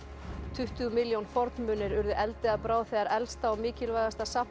tuttugu milljón fornmunir urðu eldi að bráð þegar elsta og mikilvægasta safn